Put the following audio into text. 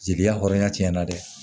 Jeli la hɔrɔnya tiɲɛna dɛ